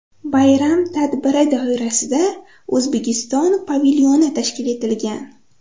Bayram tadbiri doirasida O‘zbekiston pavilyoni tashkil etilgan.